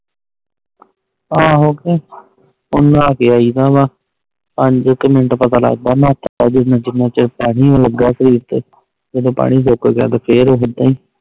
ਆਹੋ ਕੇ ਹੁਣ ਨ੍ਹਾ ਕ ਆਈਦਾ ਵਾ ਪੰਜ ਕ ਮਿੰਟ ਪਤਾ ਲੱਗਦਾ ਨਹਾਤਾ ਵ ਜਿਨ੍ਹਾਂ ਚੱਕ ਪਾਣੀ ਲਗਾ ਸ਼ਰੀਰ ਤੇ ਜਦੋ ਪਾਣੀ ਸੁੱਕ ਗਯਾ ਤਾ ਫੇਰ ਓਦਾਂ ਹੀ